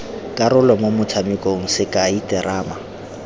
karolo mo motshamekong sekai terama